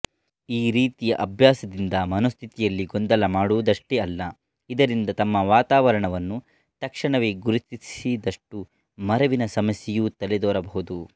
ಈ ರೀತಿಯ ಅಭ್ಯಾಸದಿಂದ ಮನೋಸ್ಥಿತಿಯಲ್ಲಿ ಗೊಂದಲ ಮಾಡುವುದಷ್ಟೇ ಅಲ್ಲ ಇದರಿಂದ ತಮ್ಮ ವಾತಾವರಣವನ್ನು ತಕ್ಷಣವೇ ಗುರುತಿಸದಷ್ಟು ಮರೆವಿನ ಸಮಸ್ಯೆಯೂ ತಲೆದೋರಬಹುದು